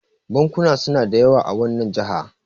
bankuna suna da yawa a wannan jaha